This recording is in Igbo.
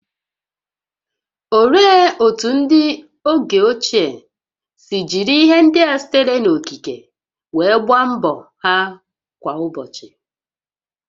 Olee otú ndị oge ochie si jiri ihe ndị a sitere n'okike wee gboo mkpa ha kwa ụbọchị?